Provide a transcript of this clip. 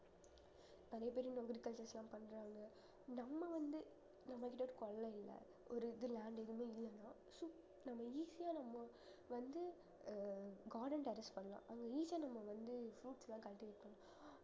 நிறைய பேர் இந்த agriculture லாம் பண்றாங்க நம்ம வந்து நம்மகிட்ட ஒரு இல்லை ஒரு இது land எதுவுமே இல்லைன்னா நம்ம easy யா நம்ம வந்து அஹ் garden பண்ணலாம் அது easy யா நம்ம வந்து fruits லாம் cultivate பண்ணலாம்